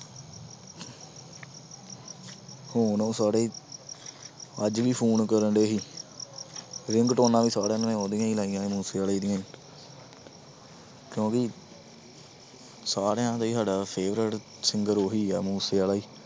ਹੁਣ ਉਹ ਸਾਰੇ ਅੱਜ ਵੀ phone ਕਰਨਡੇ ਸੀ ਰਿਗਟੋਨਾਂ ਵੀ ਸਾਲਿਆਂ ਨੇ ਉਹਦੀਆਂ ਹੀ ਲਾਈਆਂ ਹੋਈਆਂ ਮੂਸੇਵਾਲੇ ਦੀਆਂ ਹੀ ਕਿਉਂਕਿ ਸਾਰਿਆਂ ਦਾ ਹੀ ਸਾਡਾ favourite singer ਉਹੀ ਆ ਮੂਸੇਵਾਲਾ ਹੀ।